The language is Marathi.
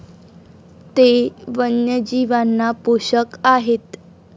ते वन्यजीवांना पोषक आहेत.